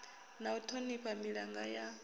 na u thonifha milanga ya